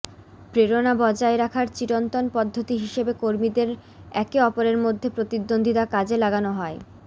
প্রেরণা বজায় রাখার চিরন্তন পদ্ধতি হিসেবে কর্মীদের একে অপরের মধ্যে প্রতিদ্বন্দ্বিতা কাজে লাগানো হয়